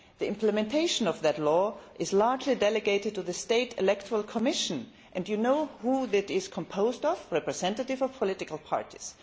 Implementation of that law has been largely delegated to the State Electoral Commission, and do you know who that is composed of? Representatives of political parties.